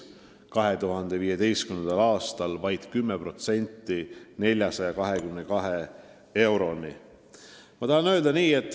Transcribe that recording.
2015. aastal tõusis see vaid 10%, 422 euroni.